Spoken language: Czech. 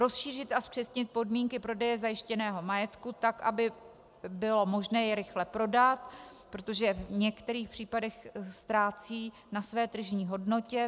Rozšířit a zpřesnit podmínky prodeje zajištěného majetku tak, aby bylo možné jej rychle prodat, protože v některých případech ztrácí na své tržní hodnotě.